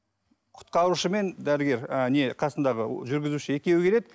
құтқарушы мен дәрігер а не қасындағы жүргізуші екеуі келеді